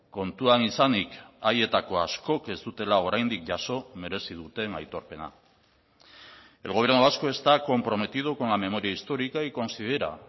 kontuan izanik haietako askok ez dutela oraindik jaso merezi duten aitorpena el gobierno vasco está comprometido con la memoria histórica y considera